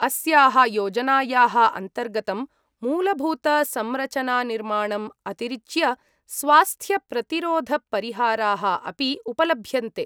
अस्याः योजनायाः अन्तर्गतं मूलभूतसंरचनानिर्माणम् अतिरिच्य स्वास्थ्यप्रतिरोधपरिहाराः अपि उपलभ्यन्ते।